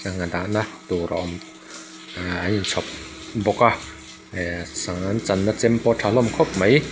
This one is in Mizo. sangha dahna tur a awm eee an in chhawp bawk a ih sangha an channa chem pawh a tha hlawm khawp mai.